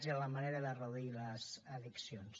i en la manera de reduir les addiccions